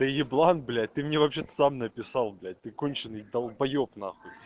ты еблан блять ты мне вообще-то сам написал блять ты конченый долбаёб нахуй